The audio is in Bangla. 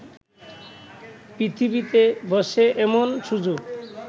পৃথিবীতে বসে এমন সুযোগ